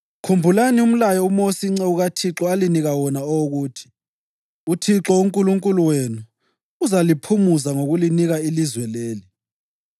“Khumbulani umlayo uMosi inceku kaThixo alinika wona owokuthi: ‘ UThixo uNkulunkulu wenu uzaliphumuza ngokulinika ilizwe leli.’